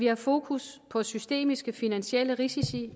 har fokus på systemiske finansielle risici